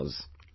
crores